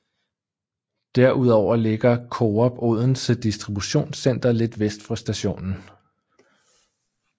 Derudover ligger Coop Odense Distributionscenter lidt for vest for stationen